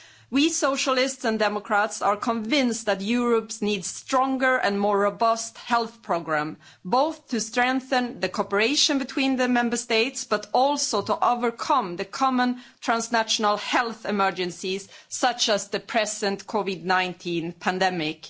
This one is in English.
We Socialists and Democrats are convinced that Europe needs stronger and more robust health programmes, both to strengthen the cooperation between the Member States, but also to overcome the common transnational health emergencies such as the present COVID 19 pandemic.